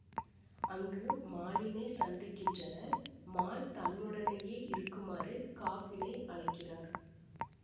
அங்கு மாலினை சந்திக்கின்றனர் மால் தன்னுடனேயே இருக்குமாறு காப்பினை அழைக்கிறார்